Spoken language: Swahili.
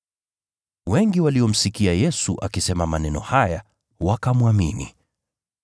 Wengi waliomsikia Yesu akisema maneno haya wakamwamini.